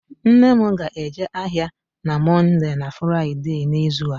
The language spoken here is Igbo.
Nne m ga-eje ahịa na Mọnde na Fraịde n'izu a